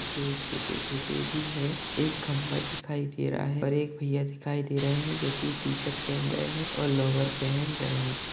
कुछ पेड़ छोटे-छोटे भी है एक खंबा दिखाई दे रहा है और एक भैया दिखाई दे रहा है जो की टी-शर्ट पहन हुआ है और लोअर पहेन रहे।